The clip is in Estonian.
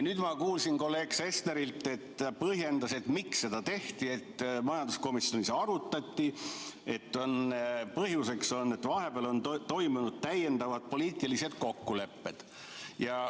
Nüüd ma kuulsin kolleeg Sesterilt, et põhjus, miks seda tehti, on see, et majanduskomisjonis on asja arutatud ja vahepeal tehtud täiendavad poliitilised kokkulepped.